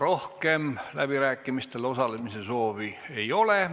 Rohkem läbirääkimistel osalemise soovi ei ole.